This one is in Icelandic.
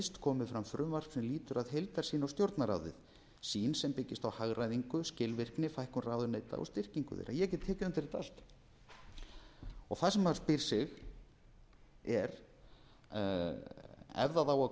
sem lýtur að heildarsýn á stjórnarráðið sýn sem byggist á hagræðingu skilvirkni fækkun ráðuneyta og styrkingu þeirra ég get tekið undir þetta allt það sem maður spyr sig er ef það á að koma